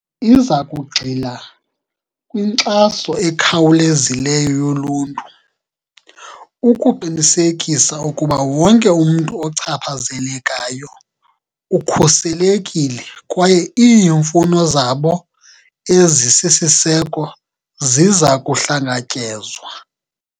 Iza kugxila kwinkxaso ekhawulezileyo yoluntu, ukuqinisekisa ukuba wonke umntu ochaphazelekayo ukhuselekile kwaye iimfuno zabo ezisisiseko ziza kuhlangatyezwa.